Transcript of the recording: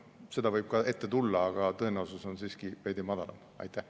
Seda võib ka ette tulla, aga tõenäosus on siiski veidi väiksem.